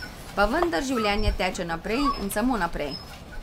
Pa vendar življenje teče naprej in samo naprej.